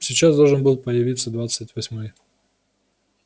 сейчас должен был появиться двадцать восьмой